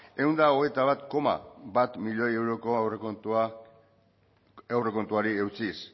ehun eta hogeita bat koma bat milioi euroko aurrekontuari eutsiz